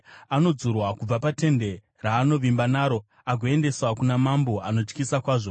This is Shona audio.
Anodzurwa kubva patende raanovimba naro agoendeswa kuna mambo anotyisa kwazvo.